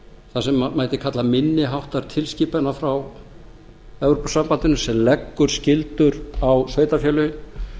þar sem mætti kalla minni háttar tilskipanir frá evrópusambandinu sem leggur skyldur á sveitarfélögin